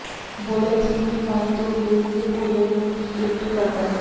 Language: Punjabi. ਬੋਲੇਨ ਸਮੁੰਦਰੀ ਪਾਣੀ ਤੋਂ ਵ੍ਹੀਲ ਦੇ ਭੋਜਨ ਨੂੰ ਫਿਲਟਰ ਕਰਦਾ ਹੈ